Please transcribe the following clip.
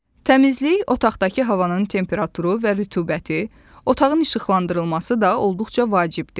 Təmizlik, otaqdakı havanın temperaturu və rütubəti, otağın işıqlandırılması da olduqca vacibdir.